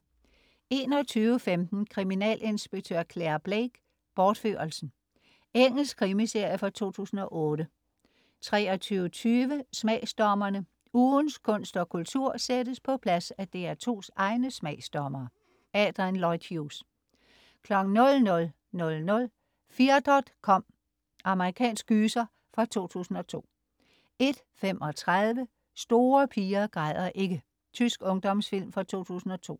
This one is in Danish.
21.15 Kriminalinspektør Clare Blake: Bortførelsen. Engelsk krimiserie fra 2008 23.20 Smagsdommerne. Ugens kunst og kultur sættes på plads af DR2's egne smagsdommere. Adrian Lloyd Hughes 00.00 FeardotCom. Amerikansk gyser fra 2002 01.35 Store piger græder ikke. Tysk ungdomsfilm fra 2002